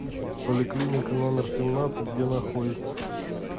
поликлиника номер семнадцать где находится